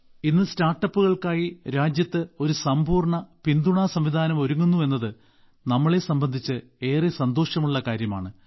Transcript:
ഇന്ന് സ്റ്റാർട്ടപ്പുകൾക്കായി രാജ്യത്ത് ഒരു സമ്പൂർണ്ണ പിന്തുണാസംവിധാനം ഒരുങ്ങുന്നു എന്നത് നമ്മളെ സംബന്ധിച്ച് ഏറെ സന്തോഷമുള്ളകാര്യമാണ്